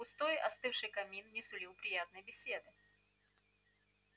пустой остывший камин не сулил приятной беседы